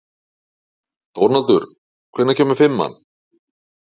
Dónaldur, hvenær kemur fimman?